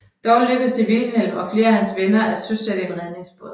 Dog lykkedes det Vilhelm og flere af hans venner at søsætte en redningsbåd